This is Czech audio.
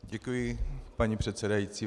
Děkuji, paní předsedající.